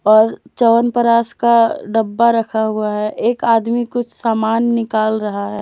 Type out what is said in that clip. और च्यवनप्राश का डब्बा रखा हुआ है एक आदमी कुछ सामान निकाल रहा है।